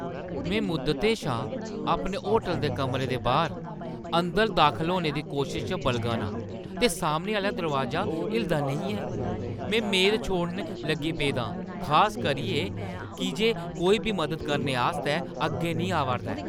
में मुद्दतें शा अपने होटलै दे कमरे दे बाह्‌र अंदर दाखल होने दी कोशशा च बलगा ना आं, ते सामना दरोआजा हिलदा नेईं ऐ! में मेद छोड़न लगी पेदा आं , खास करियै की जे कोई बी मदद करने आस्तै अग्गें नेईं आवा 'रदा ऐ।